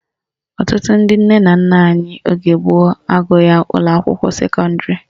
Ọtụtụ ndị nne na nna anyị oge gboo agụghị ụlọakwụkwọ sekọndịrị